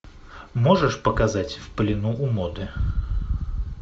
можешь показать в плену у моды